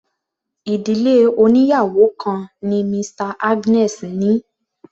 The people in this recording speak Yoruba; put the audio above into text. Ìdílé oníyàwò kan ni Mr Agnes ní.